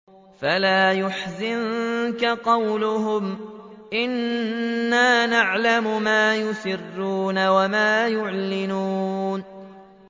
فَلَا يَحْزُنكَ قَوْلُهُمْ ۘ إِنَّا نَعْلَمُ مَا يُسِرُّونَ وَمَا يُعْلِنُونَ